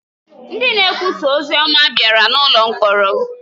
Ndị na-ekwusa ozi ọma bịara n’ụlọ mkpọrọ.